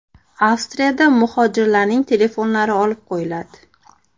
Avstriyada muhojirlarning telefonlari olib qo‘yiladi.